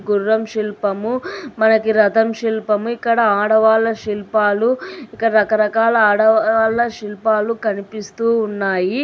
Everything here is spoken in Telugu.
గుర్రం శిల్పము మనకి రథం శిల్పము ఇక్కడ ఆడవాళ్ళ శిల్పాలు ఇక్కడ రకరకాల శిల్పాలు కనిపిస్తూ ఉన్నాయి.